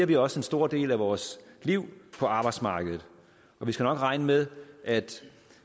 vi også en stor del af vores liv på arbejdsmarkedet og vi skal nok regne med at